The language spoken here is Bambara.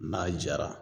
N'a jara